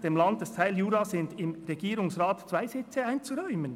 «dem Landesteil Jura sind im Regierungsrat zwei Sitze einzuräumen.